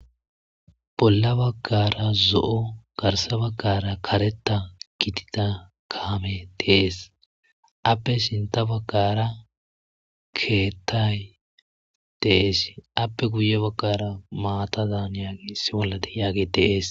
bolla baggara zo'o garsa baggara kareta gitida kaame de'ees appe sinta baggara keettay de'es appe guye baggara maatazan yaagi issi bolla de'iyaage de'ees